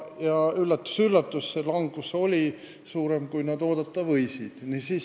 Ja üllatus-üllatus, langus oli suurem, kui nad ootasid.